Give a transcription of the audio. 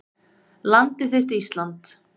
Landið þitt Ísland